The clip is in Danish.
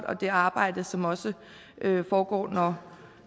og det arbejde som også foregår når